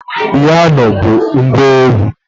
Piano bụ ngwa egwu